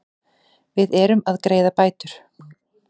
Við erum að greiða bætur.